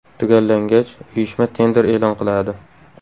Tugallangach, uyushma tender e’lon qiladi.